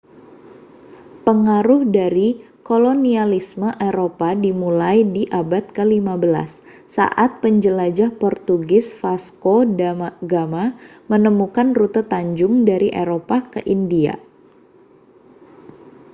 pengaruh dan kolonialisme eropa dimulai di abad ke-15 saat penjelajah portugis vasco da gama menemukan rute tanjung dari eropa ke india